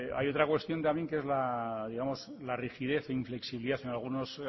hay otra cuestión también que es la digamos la rigidez inflexibilidad en algunos